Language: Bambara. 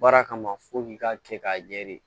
Baara kama f'i k'a kɛ k'a ɲɛ de